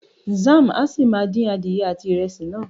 Zam a si máa din adìyẹ àti ìrẹsì náà.